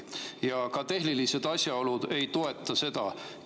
Ja ka tehnilised asjaolud ei toeta seda.